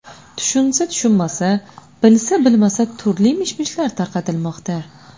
Tushunsa tushunmasa, bilsa bilmasa turli mish-mishlar tarqatilmoqda.